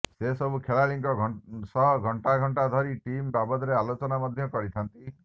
ସେ ସବୁ ଖେଳାଳିଙ୍କ ସହ ଘଣ୍ଟା ଘଣ୍ଟାଧରି ଟିମ ବାବଦରେ ଆଲୋଚନ ମଧ୍ୟ କରିଥାନ୍ତି